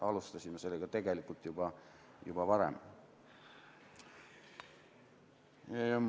Alustasime sellega tegelikult juba varem.